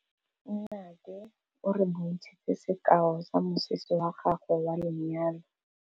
Nnake o re bontshitse sekaô sa mosese wa gagwe wa lenyalo.